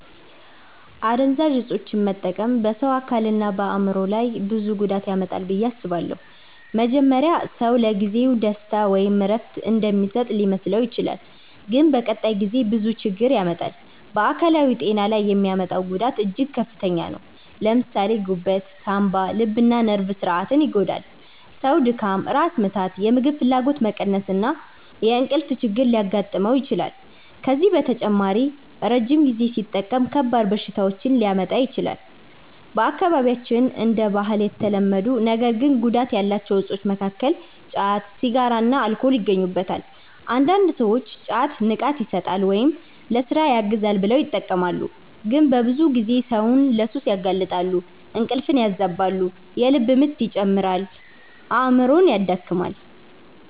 አደንዛዥ እፆችን መጠቀም በሰው አካልና በአእምሮ ላይ ብዙ ጉዳት ያመጣል ብዬ አስባለሁ። መጀመሪያ ሰው ለጊዜው ደስታ ወይም እረፍት እንደሚሰጥ ሊመስለው ይችላል፣ ግን በቀጣይ ጊዜ ብዙ ችግር ያመጣል። በአካላዊ ጤና ላይ የሚያመጣው ጉዳት እጅግ ከፍተኛ ነው። ለምሳሌ ጉበት፣ ሳንባ፣ ልብና ነርቭ ስርዓትን ይጎዳል። ሰው ድካም፣ ራስ ምታት፣ የምግብ ፍላጎት መቀነስ እና የእንቅልፍ ችግር ሊያጋጥመው ይችላል። ከዚህ በተጨማሪ ረጅም ጊዜ ሲጠቀም ከባድ በሽታዎች ሊያመጣ ይችላል። በአካባቢያችን እንደ ባህል የተለመዱ ነገር ግን ጉዳት ያላቸው እፆች መካከል ጫት፣ ሲጋራና አልኮል ይገኙበታል። አንዳንድ ሰዎች ጫት “ንቃት ይሰጣል” ወይም “ለሥራ ያግዛል” ብለው ይጠቀማሉ፣ ግን በብዙ ጊዜ ሰውን ለሱስ ያጋልጣል። እንቅልፍ ያበላሻል፣ የልብ ምት ይጨምራል፣ አእምሮንም ያደክማል።